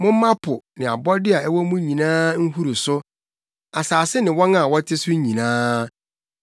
Momma po ne abɔde a ɛwɔ mu nyinaa nhuru so; asase ne wɔn a wɔte so nyinaa.